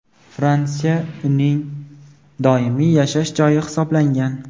Fransiya uning doimiy yashash joyi hisoblangan.